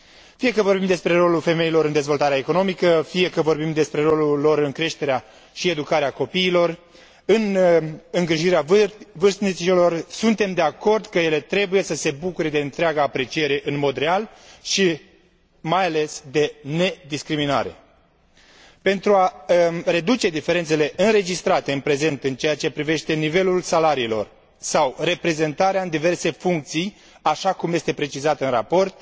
Fie că vorbim despre rolul femeilor în dezvoltarea economică, fie că vorbim despre rolul lor în creșterea și educarea copiilor, în îngrijirea vârstnicilor, suntem de acord că ele trebuie să se bucure de întreaga apreciere în mod real și, mai ales, de nediscriminare. Pentru a reduce diferențele înregistrate în prezent în ceea ce privește nivelul salariilor sau reprezentarea în diverse funcții, așa cum este precizat în raport,